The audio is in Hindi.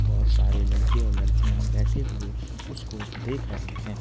बहोत सारे लड़के और लड़कियां बैठे हुए उसको देख रहे हैं।